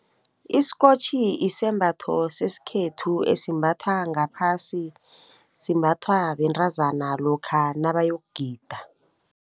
Isikotjhi isembatho sesikhethu esimbatha ngaphasi, simbathwa bentazana lokha nabayokugida.